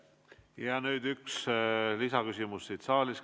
Ja nüüd üks lisaküsimus saalist.